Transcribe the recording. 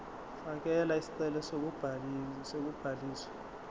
fakela isicelo sokubhaliswa